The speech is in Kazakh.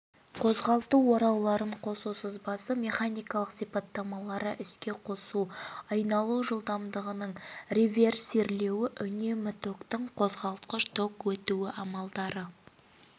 қозғалту орауларын қосу сызбасы механикалық сипаттамалары іске қосу айналу жылдамдығының реверсирлеуі үнемі токтың қозғалтқыш ток өтуі амалдары